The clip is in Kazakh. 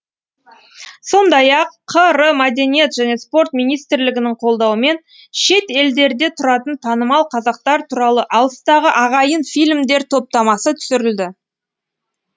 сондай ақ қр мәдениет және спорт министрлігінің қолдауымен шет елдерде тұратын танымал қазақтар туралы алыстағы ағайын фильмдер топтамасы түсірілді